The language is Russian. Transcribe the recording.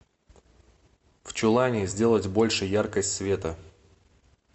в чулане сделать больше яркость света